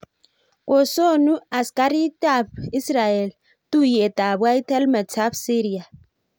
kosonu askaritkab Israel tuiyeet ab white helmets ab Syria